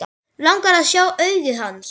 Langar að sjá augu hans.